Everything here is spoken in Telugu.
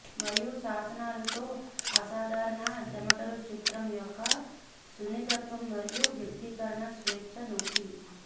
మరియు శాసనాలు తో అసాధారణ చెమటలు చిత్రం యొక్క సున్నితత్వం మరియు వ్యక్తీకరణ స్వేచ్ఛ నొక్కి